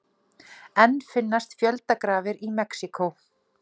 Enn finnast fjöldagrafir í Mexíkó